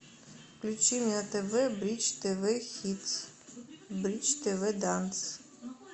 включи мне на тв бридж тв хитс бридж тв данс